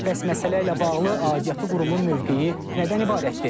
Bəs məsələ ilə bağlı aidiyyatı qurumun mövqeyi nədən ibarətdir?